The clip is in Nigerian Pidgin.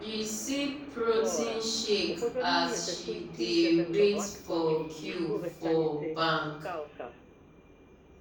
she sip protein shake as she dey wait for queue for bank.